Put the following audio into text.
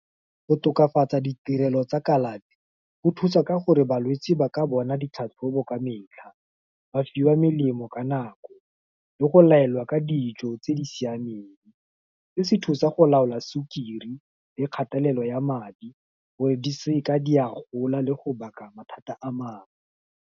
Go tokafatsa ditirelo tsa kalafi, go thusa ka gore balwetsi ba ka bona ditlhatlhobo ka metlha, ba fiwa melemo ka nako, le go laelwa ka dijo, tse di siameng, se se thusa go laola sukiri, le kgatelelo ya madi, gore di seke di a gola le go baka mathata a mangwe.